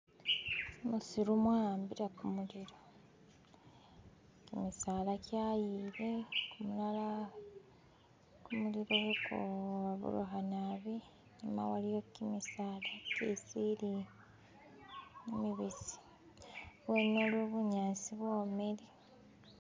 Musiru mwa'ambile kumuliro, kimisala kyayile amala kumuliro kha kuburukha naabi ano waliwo kimisala kye sirifa kimibisi, bumuli, bunyasi bwomele.